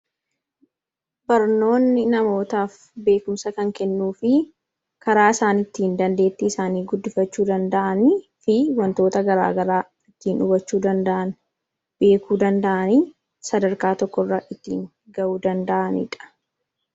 barnoonni namootaaf beekumsa kan kennuu fi karaa isaan ittiin dandeetti isaanii guddifachuu danda'an fi wantoota garaagaraa ittiin dhubachuu danda'an beekuu danda'anii sadarkaa tokkorra ittiin ga'uu danda'aniidha